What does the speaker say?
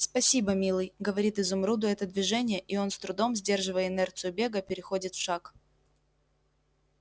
спасибо милый говорит изумруду это движение и он с трудом сдерживая инерцию бега переходит в шаг